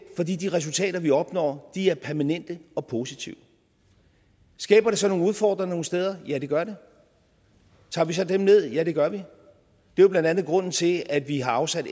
fordi de resultater vi opnår er permanente og positive skaber det så nogle udfordringer nogle steder ja det gør det tager vi så dem ned ja det gør vi det er blandt andet grunden til at vi har afsat